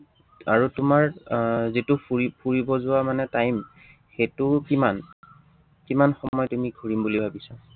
আৰু তোমাৰ আহ যিটো ফুৰি ফুৰিব যোৱা মানে time সেইটো কিমান কিমান সময় তুমি ঘূৰিম বুলি ভাবিছা?